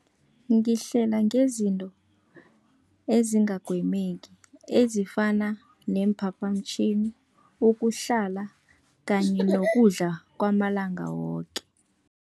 Ngihlela ngezinto ezingagwemeki, ezifana neemphaphamtjhini, ukuhlala kanye nokudla kwamalanga woke.